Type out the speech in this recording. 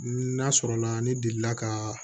N'a sɔrɔla ne delila ka